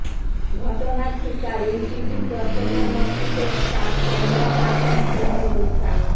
ঘটনার শিকার এনটিভি চট্টগ্রাম অফিসের স্টাফ ক্যামেরাপার্সন সুমন গোস্বামী